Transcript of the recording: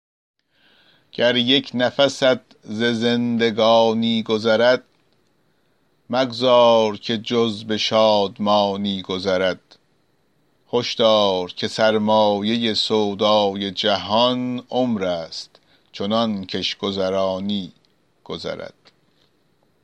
گر یک نفست ز زندگانی گذرد مگذار که جز به شادمانی گذرد هشدار که سرمایه سودای جهان عمر است چنان کش گذرانی گذرد